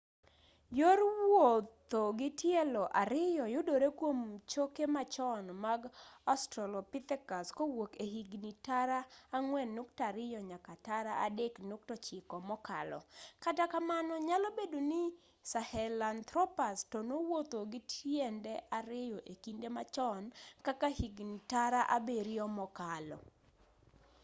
yor wuotho gi tielo ariyo yudore kwom choke machon mag australopithecus kowuok e higni tara 4.2-3.9 mokalo kata kamano nyalo bedo ni sahelanthropus to nowuotho gi tiende ariyo e kinde machon kaka higni tara abiryo mokalo